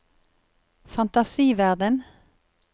fantasiverden